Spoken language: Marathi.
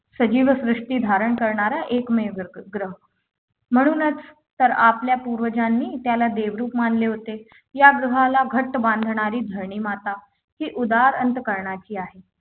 सजीव सृष्टी धारण करणारा एकमेव ग्रह म्हणूनच तर आपल्या पूर्वजांनी त्याला देवरूप मानले होते या ग्रहाला घट्ट बांधणारी धरणी माता उदार अंतःकरणाची आहे